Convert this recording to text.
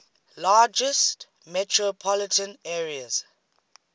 largest metropolitan areas